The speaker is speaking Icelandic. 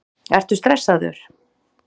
Ertu stressaður?